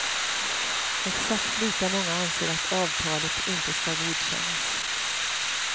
Exakt lika många anser att avtalet inte skall godkännas.